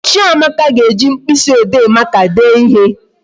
Chiamaka ga-eji mkpịsị ode maka dee ihe